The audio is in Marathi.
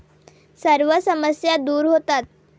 सर्व समस्या दूर होतात.